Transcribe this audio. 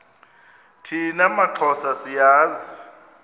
thina maxhosa siyazi